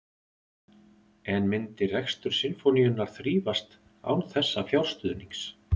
En myndi rekstur Sinfóníunnar þrífast án þessa fjárstuðnings?